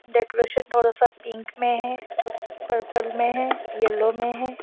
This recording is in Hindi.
डेकोरेशन थोड़ा सा पिंक में है पर्पल में है येलो में है।